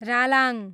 Ralang